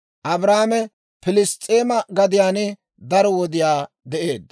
Abrahaame Pilss's'eema gadiyaan daro wodiyaa de'eedda.